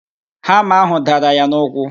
Hama ahụ dara ya n'ụkwụ